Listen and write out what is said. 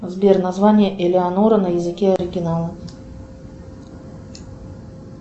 сбер название элеонора на языке оригинала